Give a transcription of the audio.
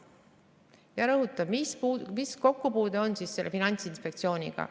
Ma rõhutan, mis kokkupuude on sel Finantsinspektsiooniga.